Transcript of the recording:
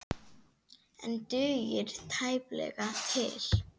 En dugir tæplega til.